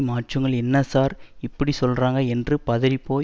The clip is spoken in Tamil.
மாற்றுங்கள் என்ன சார் இப்படி சொல்றாங்க என்று பதறிபோய்